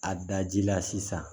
A daji la sisan